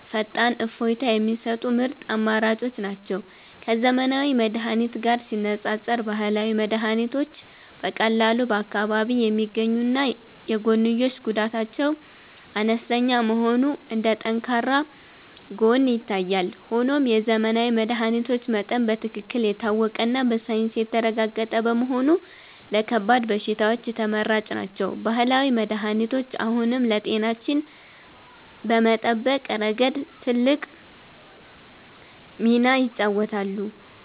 ፈጣን እፎይታ የሚሰጡ ምርጥ አማራጮች ናቸው። ከዘመናዊ መድኃኒት ጋር ሲነፃፀር፣ ባህላዊ መድኃኒቶች በቀላሉ በአካባቢ የሚገኙና የጎንዮሽ ጉዳታቸው አነስተኛ መሆኑ እንደ ጠንካራ ጎን ይታያል። ሆኖም የዘመናዊ መድኃኒቶች መጠን በትክክል የታወቀና በሳይንስ የተረጋገጠ በመሆኑ ለከባድ በሽታዎች ተመራጭ ናቸው። ባህላዊ መድኃኒቶች አሁንም ለጤናችን በመጠበቅ ረገድ ትልቅ ሚናን ይጫወታሉ።